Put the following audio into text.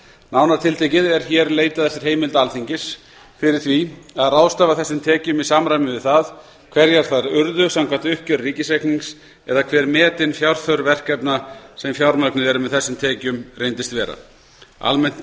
nánar tiltekið er hér leitað eftir heimild alþingis fyrir því að ráðstafa þessum tekjum í samræmi við það hverjar þær urðu samkvæmt uppgjöri ríkisreiknings eða hver metin fjárþörf verkefna sem fjármögnuð eru með þessum tekjum reyndist vera almennt